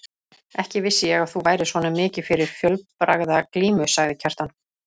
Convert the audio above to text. Ekki vissi ég að þú værir svona mikið fyrir fjölbragðaglímu, sagði Kjartan.